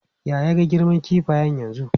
Ya ya girman kifayen yanzu?